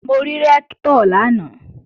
Mo rí Rẹ́ktọ̀ lánàá